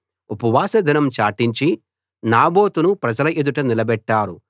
ఉపవాస దినం చాటించి నాబోతును ప్రజల ఎదుట నిలబెట్టారు